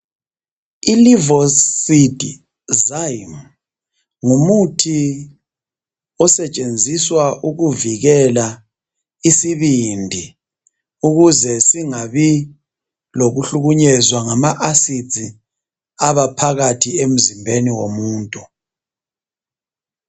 Ilivocid zyme ngumuthi osetshenziswa ukuvikela isibindi ukuze singabi lokuhlukunyezwa ngama acid abaphakathi emzimbeni womuntu.